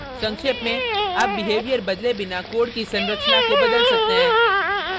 संक्षेप में आप behavior बदले बिना code की संरचना को बदल सकते हैं